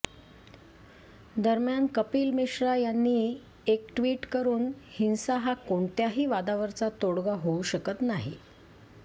दरम्यान कपिल मिश्रा यांनी एक ट्विट करून हिंसा हा कोणत्याही वादावरचा तोडगा होऊ शकत नाही